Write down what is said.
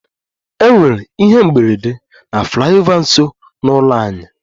E nwere ihe mberede na flyover nso n'ụlọ anyị